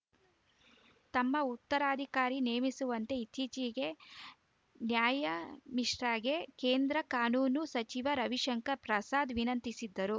ತಮ್ಮ ಉತ್ತರಾಧಿಕಾರಿ ನೇಮಿಸುವಂತೆ ಇತ್ತೀಚೆಗೆ ನ್ಯಾಯಾ ಮಿಶ್ರಾಗೆ ಕೇಂದ್ರ ಕಾನೂನು ಸಚಿವ ರವಿಶಂಕರ್‌ ಪ್ರಸಾದ್‌ ವಿನಂತಿಸಿದ್ದರು